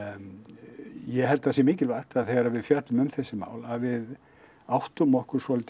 ég held að það sé mikilvægt að þegar við fjöllum um þessi mál að við áttum okkur svolítið